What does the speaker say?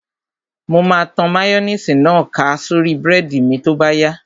Mo máa tan máyóníìsì náà ká sórí búrẹ́dì mi tó bá yá